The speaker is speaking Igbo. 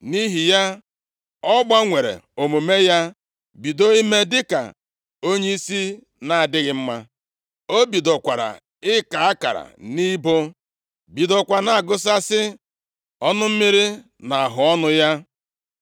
Nʼihi ya ọ gbanwere omume ya, bido ime dịka onyeisi na-adịghị mma. O bidokwara ịka akara nʼibo, bidokwa na-agụsasị ọnụ mmiri nʼahụọnụ ya.